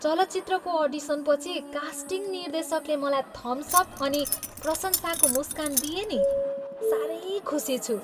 चलचित्रको अडिसनपछि कास्टिङ निर्देशकले मलाई थम्स अप अनि प्रशंसाको मुस्कान दिए नि। साह्रै खुसी छु।